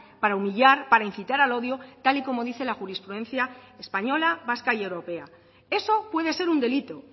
para humillar para incitar al odio tal y como dice la jurisprudencia española vasca y europea eso puede ser un delito